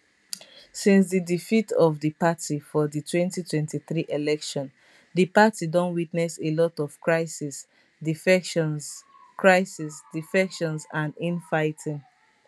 since di defeat of di party for di 2023 election di party don witness a lot of crisis defections crisis defections and infighting